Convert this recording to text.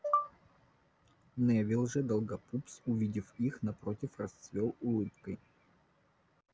невилл же долгопупс увидев их напротив расцвёл улыбкой